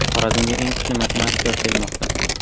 Xorazmga eng kuchli matematiklar kelmoqda.